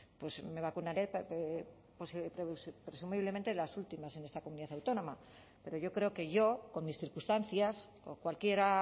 pues me vacunaré presumiblemente las últimas en esta comunidad autónoma pero yo creo que yo con mis circunstancias o cualquiera